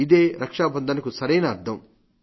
ఇదే రక్షాబంధన్ కు సరైన అర్థం